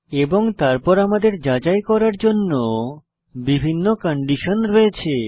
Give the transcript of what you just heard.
এবং তারপর আমাদের যাচাই করার জন্য বিভিন্ন কন্ডিশন রয়েছে